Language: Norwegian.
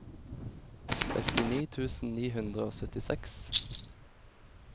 sekstini tusen ni hundre og syttiseks